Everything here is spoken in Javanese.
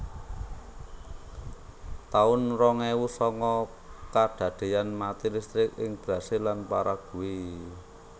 taun rong ewu sanga Kadadean mati listrik ing Brasil lan Paraguay